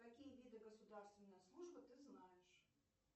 какие виды государственной службы ты знаешь